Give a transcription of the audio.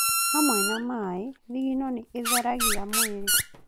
Hamwe na maaĩ, thigino nĩ ĩtheragia mwĩrĩ